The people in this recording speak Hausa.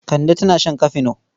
Kande tana shan kafino.